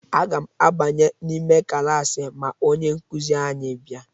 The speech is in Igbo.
Aga m abanye n'ime klaasị ma onye nkuzi anyị bịa.